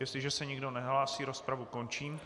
Jestliže se nikdo nehlásí, rozpravu končím.